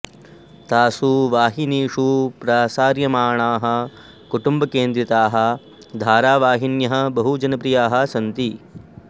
तासु वाहिनीषु प्रसार्यमाणाः कुटुम्बकेन्द्रिताः धारावाहिन्यः बहु जनप्रियाः सन्ति